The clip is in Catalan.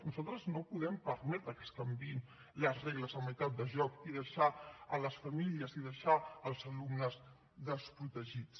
nosaltres no podem permetre que es canviïn les regles a meitat de joc i deixar les famílies i deixar els alumnes desprotegits